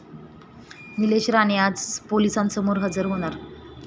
निलेश राणे आज पोलिसांसमोर हजर होणार